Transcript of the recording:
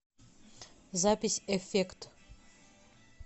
запись эффект